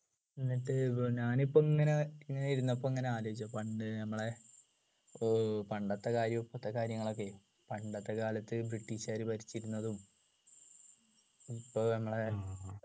എന്നിട്ട് ഞാനിപ്പോ ഇങ്ങനെ ഇങ്ങനെ ഇരുന്നപ്പോ ഇങ്ങനെ ആലോചിച്ചു പണ്ട് നമ്മളെ ഓ പണ്ടത്തെ കാര്യവും ഇപ്പോളത്തെ കാര്യഗങ്ങളൊക്കെയേ പണ്ടത്തെ കാലത്ത് british കാർ ഭരിച്ചിരുന്നതും ഇപ്പൊ നമ്മളെ